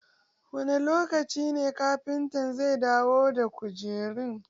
Wani lokaci ne kafinta zai dawo da kujerun?